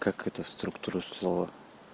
как это структуру слова